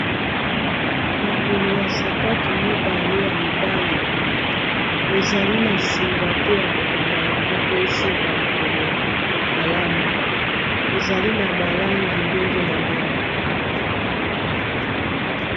Makolo ya sapatu mibale ya mibali ezali na singa te ya kokanga yango po esimba likolo malamu ezali na balangi ndenge na ndenge